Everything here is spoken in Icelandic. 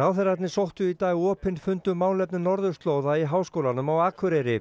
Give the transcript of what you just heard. ráðherrarnir sóttu í dag opinn fund um málefni norðurslóða í Háskólanum á Akureyri